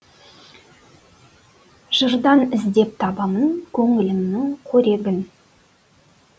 жырдан іздеп табамын көңілімнің қорегін